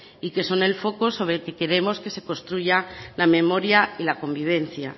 y que son el foco sobre el que queremos que se construya la memoria y la convivencia